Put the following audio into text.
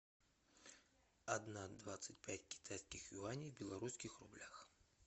одна двадцать пять китайских юаней в белорусских рублях